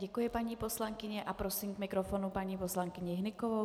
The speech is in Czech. Děkuji paní poslankyni a prosím k mikrofonu paní poslankyni Hnykovou.